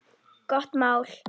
Gott mál.